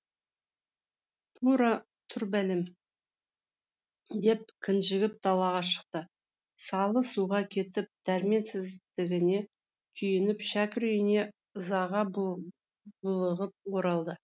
тура тұр бәлем деп кінжігіп далаға шықты салы суға кетіп дәрменсіздігіне күйініп шәкір үйіне ызаға булығып оралды